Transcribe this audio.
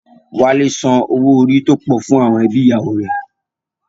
Wálé san owó orí tó pọ̀ fún àwọn ẹbí ìyàwó rẹ̀